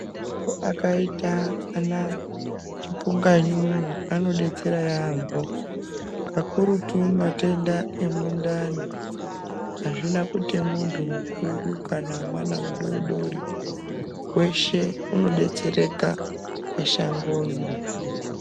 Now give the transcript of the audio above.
Akaita ana chipunganyunyu anodetsera yampho kakurutu matenda emundani azvina kuti muntu mukuru kana mwana mudoodori weshe unodetsereka neshango iri.